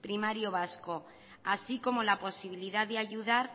primario vasco así como la posibilidad de ayudar